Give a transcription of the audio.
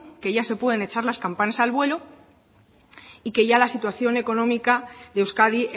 que ya se pueden echar las campanas al vuelo y que ya la situación económica de euskadi